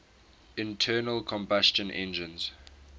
internal combustion engines